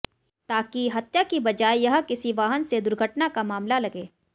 ताकि हत्या की बजाय यह किसी वाहन से दुर्घटना का मामला लगे